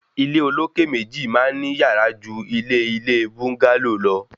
Ilé olókè méjì máa ń ní yàrá jù ilé ilé búńgálò lọ